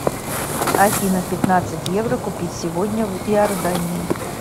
афина пятнадцать евро купить сегодня в иордании